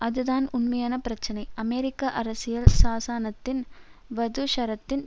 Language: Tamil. அதுதான் உண்மையான பிரச்சினை அமெரிக்க அரசியல் சாசனத்தின் வதுஷரத்தின்